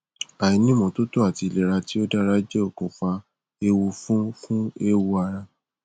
àìní ìmótótó àti ìlera tí ò dára jẹ okùnfà ewu fún fún eéwo ara